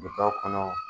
Bitaw kɔnɔ